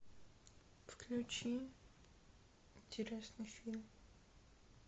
включи интересный фильм